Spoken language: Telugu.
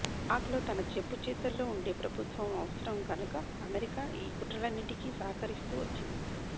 పాక్లో తన చెప్పుచేతల్లో ఉండే ప్రభుత్వం అవసరం గనుక అమెరికా ఈ కుట్రలన్నిటికీ సహక రిస్తూ వచ్చింది